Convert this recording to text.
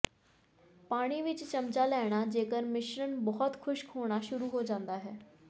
ਪਾਣੀ ਵਿੱਚ ਚਮਚਾ ਲੈਣਾ ਜੇਕਰ ਮਿਸ਼ਰਣ ਬਹੁਤ ਖੁਸ਼ਕ ਹੋਣਾ ਸ਼ੁਰੂ ਹੋ ਜਾਂਦਾ ਹੈ